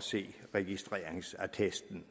se registreringsattesten